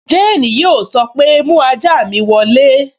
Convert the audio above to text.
Jane yóò sọ pé, 'mú ajá mi wọ ilé'